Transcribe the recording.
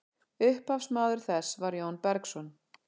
upphafsmaður þess var jón bergsson